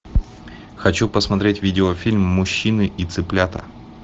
хочу посмотреть видеофильм мужчины и цыплята